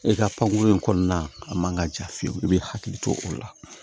E ka pankuru in kɔnɔna a man ka ja fiyewu i b'i hakili to o la